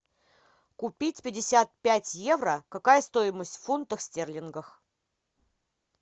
купить пятьдесят пять евро какая стоимость в фунтах стерлингах